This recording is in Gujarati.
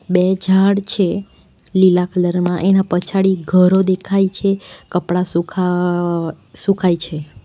બે ઝાડ છે લીલા કલર માં એના પછાડી ઘરો દેખાય છે કપડાં સૂકા વ્અ સુકાય છે.